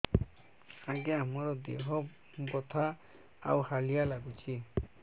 ଆଜ୍ଞା ମୋର ଦେହ ବଥା ଆଉ ହାଲିଆ ଲାଗୁଚି